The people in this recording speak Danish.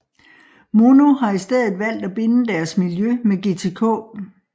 Mono har i stedet valgt at binde deres miljø med GTK